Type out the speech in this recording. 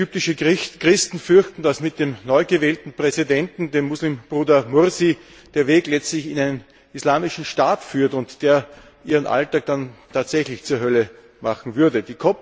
Viele ägyptische Christen fürchten, dass mit dem neugewählten Präsidenten, dem Muslimbruder Mursi, der Weg letztlich in einen islamischen Staat führt, und der ihren Alltag dann tatsächlich zur Hölle machen würde.